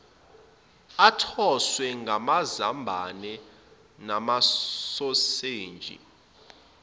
athoswe ngamazambane namasoseji